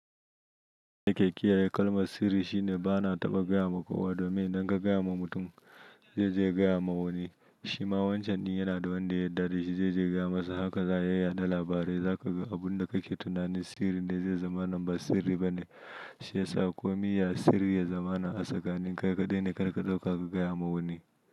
Ka kiya kalmar sirri shine bana taɓa gaya ma kowa domin idan ka gaya wa mutum zai je ya gaya na wani. Shima wancan ɗin yana da wanda ya yarda da shi zai je ya gaya masa haka za a yaɗa labarai. Zaka ga abin da kake tunanin sirri ne zai zama na ba sirri bane. Shi yasa komi ya sirri ya zama na a tsakani in kai kaɗai ne, kar ka ɗauka ka gaya ma wani.